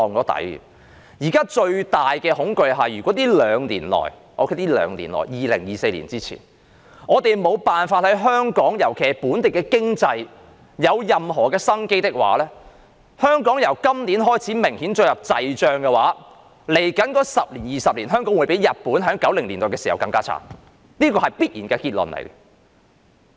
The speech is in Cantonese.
現時最大的恐懼是，在這兩年內，就是在2024年前，如果我們沒法令香港的經濟再現生機的話，當香港經濟由今年起明顯進入滯脹時，在未來10年至20年，香港的情況會較日本在1990年代時更慘，這是必然的結論。